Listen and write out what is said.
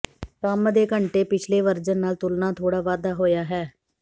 ਕੰਮ ਦੇ ਘੰਟੇ ਪਿਛਲੇ ਵਰਜਨ ਨਾਲ ਤੁਲਨਾ ਥੋੜ੍ਹਾ ਵਾਧਾ ਹੋਇਆ ਹੈ